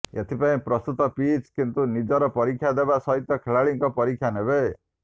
ଏଥି ପାଇଁ ପ୍ରସ୍ତୁତ ପିଚ୍ କିନ୍ତୁ ନିଜର ପରୀକ୍ଷା ଦେବା ସହିତ ଖେଳାଳିଙ୍କ ପରୀକ୍ଷା ନେବ